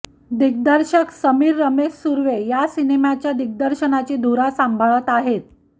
दिग्दर्शक समीर रमेश सुर्वे या सिनेमाच्या दिग्दर्शनाची धुरा सांभाळत आहेत